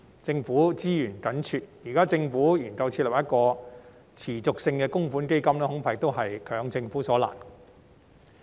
在資源緊絀下，現時要政府研究設立一個持續性的供款基金，恐怕亦是強其所難。